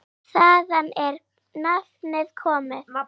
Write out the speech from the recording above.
Þaðan er nafnið komið.